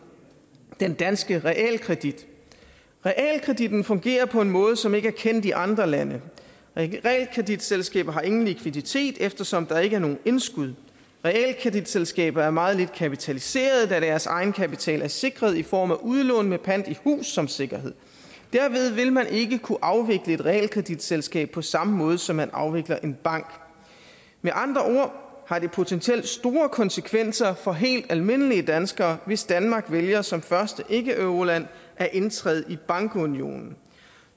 den danske realkredit realkreditten fungerer på en måde som ikke er kendt i andre lande realkreditselskaber har ingen likviditet eftersom der ikke er nogen indskud realkreditselskaber er meget lidt kapitaliserede da deres egenkapital er sikret i form af udlån med pant i hus som sikkerhed derved vil man ikke kunne afvikle et realkreditselskab på samme måde som man afvikler en bank med andre har det potentielt store konsekvenser for helt almindelige danskere hvis danmark vælger som første ikkeeuroland at indtræde i bankunionen